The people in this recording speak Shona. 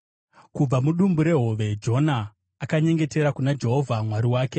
Kubva mudumbu rehove Jona akanyengetera kuna Jehovha Mwari wake.